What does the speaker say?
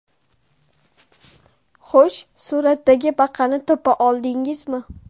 Xo‘sh, suratdagi baqani topa oldingizmi?